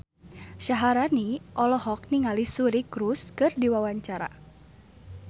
Syaharani olohok ningali Suri Cruise keur diwawancara